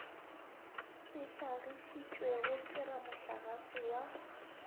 se hlagišitšwego ke ramohlagase wa